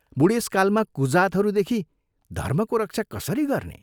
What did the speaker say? बूढेसकालमा कुजातहरूदेखि धर्मको रक्षा कसरी गर्ने?